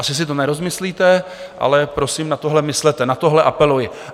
Asi si to nerozmyslíte, ale prosím, na tohle myslete, na tohle apeluji.